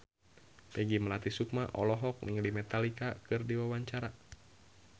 Peggy Melati Sukma olohok ningali Metallica keur diwawancara